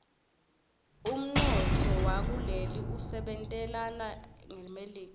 umntfowakuleli usebentelana ngmelika